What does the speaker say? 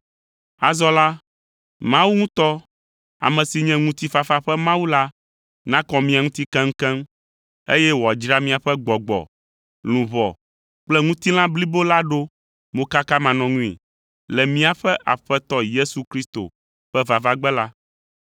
Azɔ la, Mawu ŋutɔ, ame si nye ŋutifafa ƒe Mawu la nakɔ mia ŋuti keŋkeŋ, eye wòadzra miaƒe gbɔgbɔ, luʋɔ kple ŋutilã blibo la ɖo mokakamanɔŋui le míaƒe Aƒetɔ Yesu Kristo ƒe vavagbe la.